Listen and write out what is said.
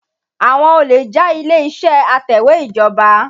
Àwọn olè já ilé-ìṣẹ́ atẹ̀wẹ́ ìjọba.